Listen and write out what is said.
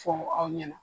Fɔ aw ɲɛna